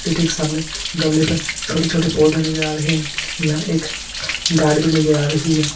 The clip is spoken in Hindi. के सामने गमले पर छोटे छोटे पौधे नजर आ रहे हैं यहां एक गार्ड भी नजर आ रही है।